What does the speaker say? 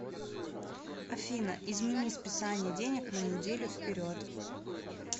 афина измени списания денег на неделю вперед